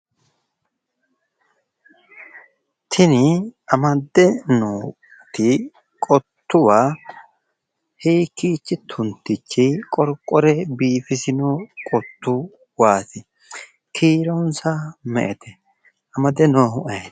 Tini amdde nooi qottuwa iikiichi tuntichi qorqore biifisino qottuwaati? kiironsa me"ete? amade noohu ayeeti?